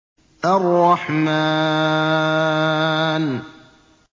الرَّحْمَٰنُ